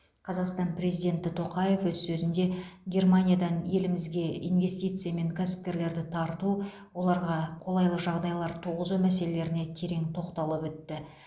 қазақстан президенті тоқаев өз сөзінде германиядан елімізге инвестиция мен кәсіпкерлерді тарту оларға қолайлы жағдайлар туғызу мәселеріне терең тоқталып өтті